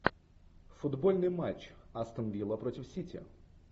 футбольный матч астон вилла против сити